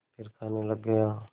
फिर खाने लग गया